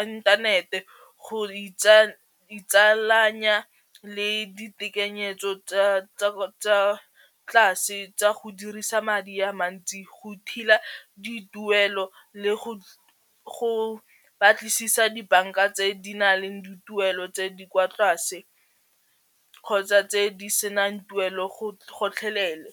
inthanete go itse itsalanya le ditekanyetso tsa tlase tsa go dirisa madi a mantsi go dituelo le go batlisisa dibanka tse di na leng dituelo tse di kwa tlase kgotsa tse di senang tuelo gotlhelele.